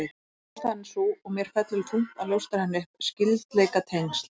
Ástæðan er sú, og mér fellur þungt að ljóstra henni upp: Skyldleikatengsl